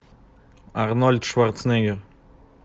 арнольд шварценеггер